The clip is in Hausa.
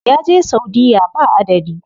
Ya je saudiya ba adadi.